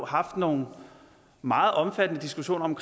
haft nogle meget omfattende diskussioner om